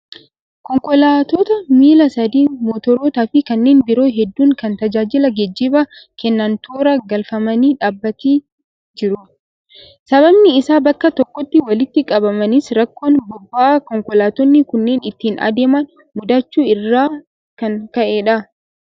Konkolaattota miilla sadii, motorootaa fi kanneen biroo hedduu kan tajaajila geejjibaa kennan toora galfamanii dhaabbatii jiru. Sababni isaan bakka tokkotti walitti qabamanis rakkoon boba'aa konkolaattonni kunneen ittiin adeeman mudachuu irraan kan ka'edha.